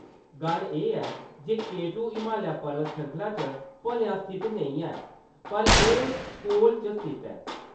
गल्ल एह्‌‌ ऐ जे के टू हमालिया परबत श्रृंखला च भलेआं स्थित नेईं ऐ, पर एह्‌‌ कोल च स्थित ऐ।